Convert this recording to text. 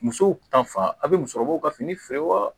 Musow ta fan a bɛ musokɔrɔbaw ka fini feere wa